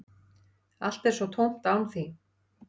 Allt er svo tómt án þín.